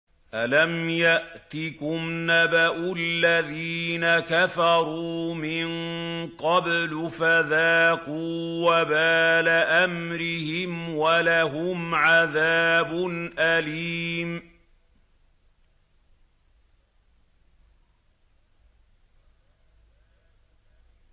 أَلَمْ يَأْتِكُمْ نَبَأُ الَّذِينَ كَفَرُوا مِن قَبْلُ فَذَاقُوا وَبَالَ أَمْرِهِمْ وَلَهُمْ عَذَابٌ أَلِيمٌ